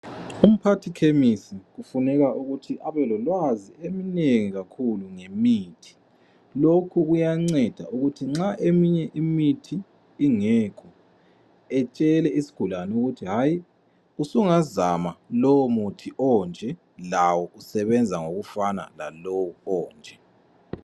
Umphathi khemisi kufuna ukuthi abe lolwazi olunengi kakhulu ngemithi. Lokhu kuyanceda ukuthi nxa eminye imithi ingekho etshele isigulani ukuthi hayi usungazama lowo muthi onje lawo usebenza okufana lalowo onje.